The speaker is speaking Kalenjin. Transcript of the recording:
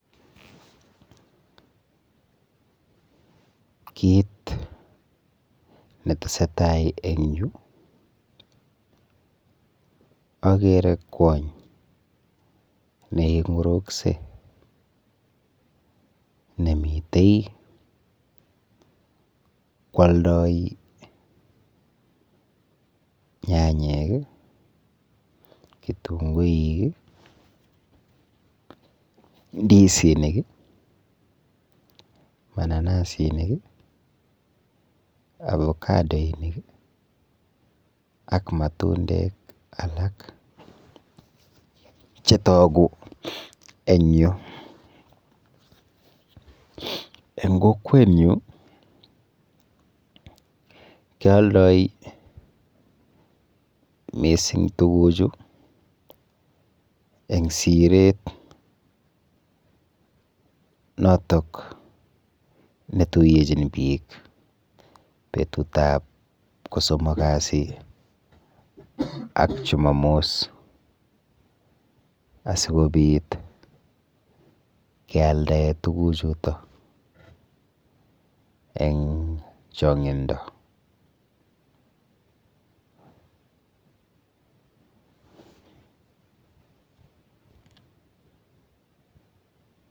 Kit netesetai eng yu akere kwony neing'uruksei nemite kwoldoi nyanyek, kitunguik, ndisinik, mananasinik, avocadoinik ak matundek alak chetugu eng yu. Eng kokwenyu kealdoi mising tukuchu eng siret notok netuiyechin biik betutap kosomokasi ak chumamos asikobit kealdae tukuchuto eng chong'indo.